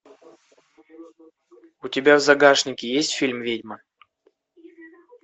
у тебя в загашнике есть фильм ведьма